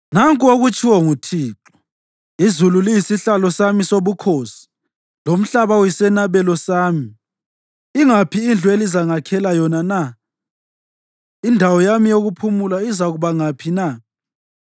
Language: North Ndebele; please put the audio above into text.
Nanku okutshiwo nguThixo: “Izulu liyisihlalo sami sobukhosi, lomhlaba uyisenabelo sami. Ingaphi indlu elizangakhela yona na? Indawo yami yokuphumula izakuba ngaphi na?